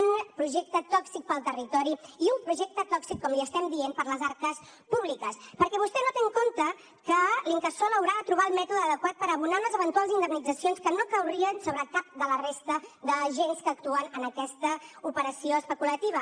un projecte tòxic per al territori i un projecte tòxic com li estem dient per a les arques públiques perquè vostè no té en compte que l’incasòl haurà de trobar el mètode adequat per abonar unes eventuals indemnitzacions que no caurien sobre cap de la resta d’agents que actuen en aquesta operació especulativa